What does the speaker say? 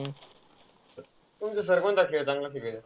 तुमचे sir कोणता खेळ चांगला शिकवित्यात?